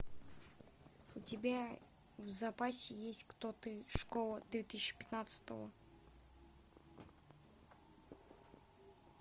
у тебя в запасе есть кто ты школа две тысячи пятнадцатого